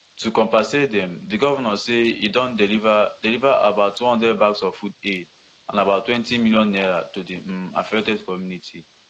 to compensat dem di govnor say e don deliver deliver about one hundred bags of food aid and about twenty million naira to di um affected community